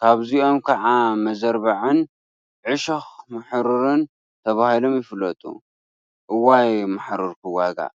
ካብዚኦም ከዓ መዘርባዕን ዕሾኽ ማሕሩርን ተባሂሎም ይፍለጡ፡፡ እዋይ ማሕሩር ክዋጋእ!